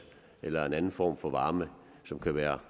eller en anden form for varme som kan være